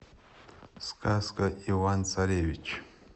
сказка иван царевич